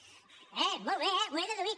eh molt bé eh ho he deduït